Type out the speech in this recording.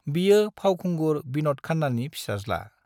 बियो फावखुंगुर विनद खान्नानि फिसाज्ला।